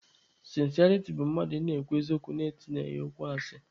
Sịnsịariti bụ mmadụ ị na-ekwu eziokwu na-etinyeghị ya okwu asị.